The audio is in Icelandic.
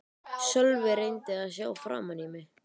Sölvi reyndi að sjá framan í mig.